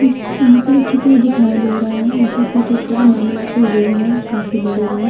इस यहाँ पर एक चित्र दिखाई दे रहा है। ऐसा प्रतीत हो रहा है मानो ये कोई रूम है। काफी बड़े रूम --